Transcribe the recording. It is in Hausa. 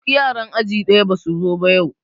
Duk yara aji ɗaya basu zo ba yau